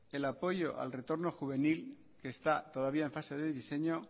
el apoyo al retorno juvenil que está todavía en fase de diseño